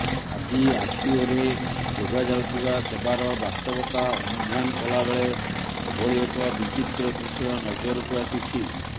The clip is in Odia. ଆଜି ଆରଟିଓରେ ଯୋଗାଯାଉଥିବା ସେବାର ବାସ୍ତବତା ଅନୁଧ୍ୟାନ କଲା ବେଳେ ଏଭଳି ଏକ ବିଚିତ୍ର ଦୃଶ୍ୟ ନଜରକୁ ଆସିଛି